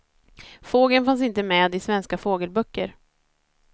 Fågeln fanns inte med i svenska fågelböcker.